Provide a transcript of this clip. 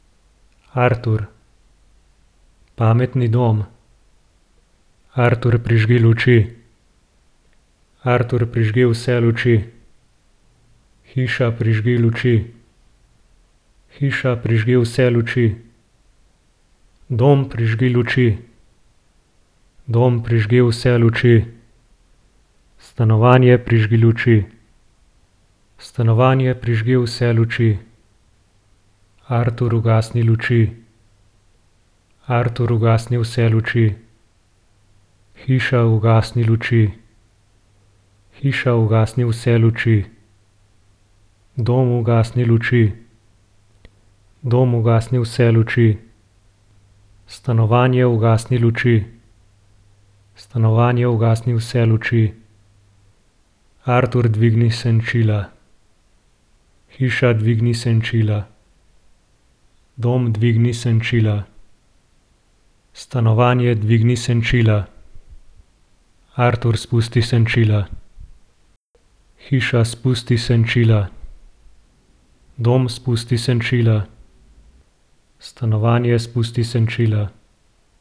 Artur. Pametni dom. Artur, prižgi luči. Artur, prižgi vse luči. Hiša, prižgi luči. Hiša, prižgi vse luči. Dom, prižgi luči. Dom, prižgi vse luči. Stanovanje, prižgi luči. Stanovanje, prižgi vse luči. Artur, ugasni luči. Artur, ugasni vse luči. Hiša, ugasni luči. Hiša, ugasni vse luči. Dom, ugasni luči. Dom, ugasni vse luči. Stanovanje, ugasni luči. Stanovanje, ugasni vse luči. Artur, dvigni senčila. Hiša, dvigni senčila. Dom, dvigni senčila. Stanovanje, dvigni senčila. Artur, spusti senčila. Hiša, spusti senčila. Dom, spusti senčila. Stanovanje, spusti senčila.